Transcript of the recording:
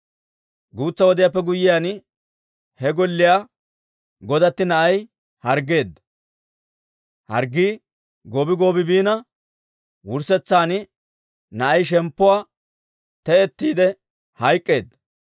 Guutsa wodiyaappe guyyiyaan he golliyaa godatti na'ay harggeedda; harggii goobi goobi biina, wurssetsan na'ay shemppuwaa te'ettiide hayk'k'eedda.